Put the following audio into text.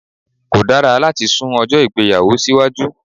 Kò dára láti sun ọjó ìgbéyàwó sí iwájú